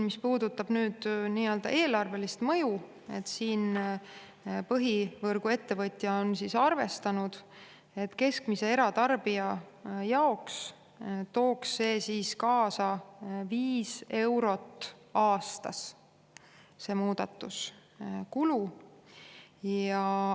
Mis puudutab eelarvelist mõju, siis põhivõrguettevõtja on arvestanud, et keskmise eratarbija jaoks tooks see muudatus kaasa aastas viis eurot kulu.